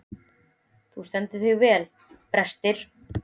Þú stendur þig vel, Brestir!